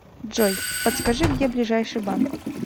джой подскажи где ближайший банк